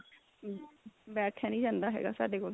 ਬੈਠਿਆ ਨੀ ਜਾਂਦਾ ਹੈਗਾ ਸਾਡੇ ਕੋਲ